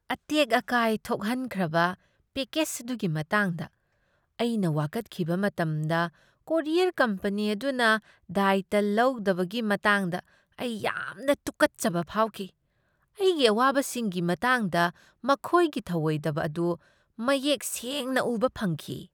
ꯑꯇꯦꯛ ꯑꯀꯥꯏ ꯊꯣꯛꯍꯟꯈ꯭ꯔꯕ ꯄꯦꯀꯦꯖ ꯑꯗꯨꯒꯤ ꯃꯇꯥꯡꯗ ꯑꯩꯅ ꯋꯥꯀꯠꯈꯤꯕ ꯃꯇꯝꯗ ꯀꯣꯔꯤꯌꯔ ꯀꯝꯄꯅꯤ ꯑꯗꯨꯅ ꯗꯥꯏꯇ꯭ꯌ ꯂꯧꯗꯕꯒꯤ ꯃꯇꯥꯡꯗ ꯑꯩ ꯌꯥꯝꯅ ꯇꯨꯀꯠꯆꯕ ꯐꯥꯎꯈꯤ꯫ ꯑꯩꯒꯤ ꯑꯋꯥꯕꯁꯤꯡꯒꯤ ꯃꯇꯥꯡꯗ ꯃꯈꯣꯏꯒꯤ ꯊꯧꯑꯣꯏꯗꯕ ꯑꯗꯨ ꯃꯌꯦꯛ ꯁꯦꯡꯅ ꯎꯕ ꯐꯪꯈꯤ꯫